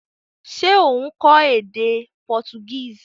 Se o n kó édé Portuguese?